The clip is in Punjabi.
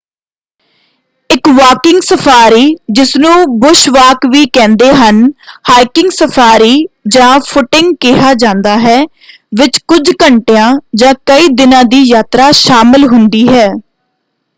ਇੱਕ ਵਾਕਿੰਗ ਸਫਾਰੀ ਜਿਸਨੂੰ ਬੁਸ਼ ਵਾਕ ਵੀ ਕਹਿੰਦੇ ਹਨ ਹਾਈਕਿੰਗ ਸਫਾਰੀ ਜਾਂ ਫੁੱਟਿੰਗ ਕਿਹਾ ਜਾਂਦਾ ਹੈ ਵਿੱਚ ਕੁੱਝ ਘੰਟਿਆਂ ਜਾਂ ਕਈ ਦਿਨਾਂ ਦੀ ਯਾਤਰਾ ਸ਼ਾਮਲ ਹੁੰਦੀ ਹੈ।